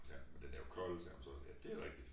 Sagde men den er jo kold sagde hun så ja dét rigtigt